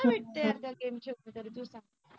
काय भेटत यार गेम खेळून दर दिवसा